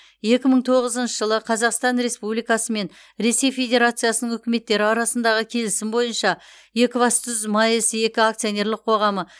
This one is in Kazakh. екі мың тоғызыншы жылы қазақстан республикасы мен ресей федерациясының үкіметтері арасындағы келісім бойынша екібастұз маэс екі акционерлік қоғамы